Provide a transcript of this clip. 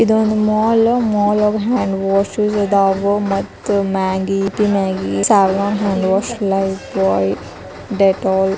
ಒಂದ್ ಮಾಲ್ಗ್ hand wash ಅದಾವ್ ಮತ್ತ್ Maggi Yippee Maggi Savlon hand wash Lifebuoy Dettol.